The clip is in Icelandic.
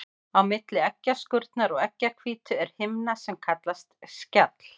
Á milli eggjaskurnar og eggjahvítu er himna sem kallast skjall.